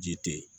Ji te yen